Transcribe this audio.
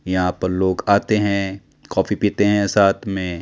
यहां पर लोग आते हैं। कॉफी पीते हैं साथ में--